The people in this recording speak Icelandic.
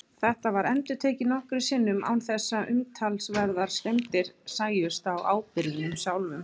Þetta var endurtekið nokkrum sinnum án þess að umtalsverðar skemmdir sæjust á áburðinum sjálfum.